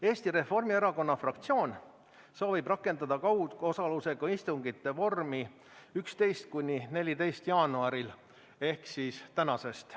Eesti Reformierakonna fraktsioon soovib rakendada kaugosaluse istungite vormi 11.–14. jaanuaril ehk tänasest.